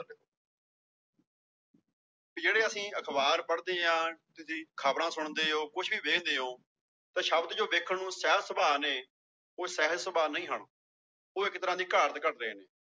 ਵੀ ਜਿਹੜੇ ਅਸੀਂ ਅਖ਼ਬਾਰ ਪੜ੍ਹਦੇ ਹਾਂ ਤੁਸੀਂ ਖ਼ਬਰਾਂ ਸੁਣਦੇ ਹੋ ਕੁਛ ਵੀ ਵੇਖਦੇ ਹੋ, ਤਾਂ ਸ਼ਬਦ ਜੋ ਵੇਖਣ ਨੂੰ ਸਹਿਜ ਸੁਭਾਅ ਨੇ ਉਹ ਸਹਿਜ ਸੁਭਾਅ ਨਹੀਂ ਹਨ, ਉਹ ਇੱਕ ਤਰ੍ਹਾਂ ਦੀ ਘਾੜਤ ਘੜ ਰਹੇ ਨੇ।